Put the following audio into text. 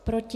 Proti?